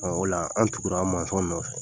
Ola an tugura nɔfɛ